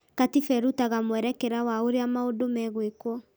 Katiba ĩrutaga mwerekera wa ũrĩa maũndũ megwĩkwo